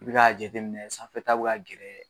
I be k'a jateminɛ sanfɛta be ka gɛrɛ